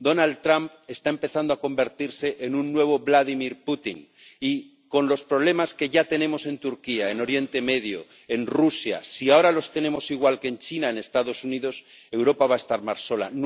Donald Trump está empezando a convertirse en un nuevo Vladimir Putin y, con los problemas que ya tenemos en Turquía, en Oriente Medio, en Rusia, si ahora los tenemos igual que en China, en Estados Unidos, Europa va a estar más sola.